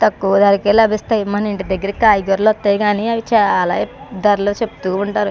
తక్కువ ధరకే లభిస్తాయి మన ఇంటి దగ్గర కాయగూరలు వత్తయి గాని అవి చాలా ధరలు చెప్తూ ఉంటారు.